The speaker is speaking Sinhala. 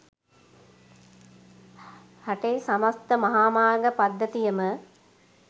රටේ සමස්ත මහාමාර්ග පද්ධතියම